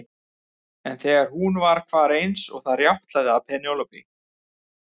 En þegar hún hvar var eins og það rjátlaði af Penélope.